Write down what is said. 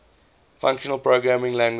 functional programming languages